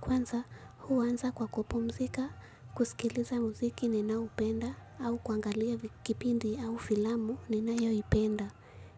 Kwanza huanza kwa kupumzika kusikiliza mziki ninaupenda au kuangalia kipindi au filamu ninayoipenda.